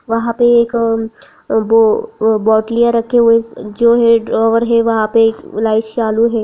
वहाँ पे एक वो बोटलियाँ रखे हुए जो हैं ड्रावर है वहाँ पे एक लाइट्स चालू है।